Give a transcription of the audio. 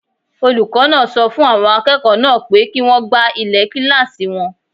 Olùkọ́ náà sọ fún àwọn akẹ́kọ̀ọ́ náà pé kí wọ́n gbá ilẹ̀ kílásì wọn